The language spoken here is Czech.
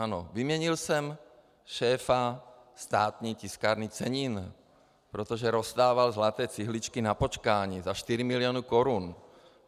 Ano, vyměnil jsem šéfa Státní tiskárny cenin, protože rozdával zlaté cihličky na počkání za 4 mil. korun.